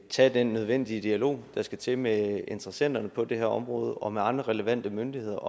tage den nødvendige dialog der skal til med interessenterne på det her område og med andre relevante myndigheder